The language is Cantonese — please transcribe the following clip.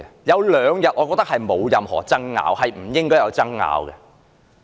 有兩個日子我覺得沒有任何爭拗，亦不應該有爭拗。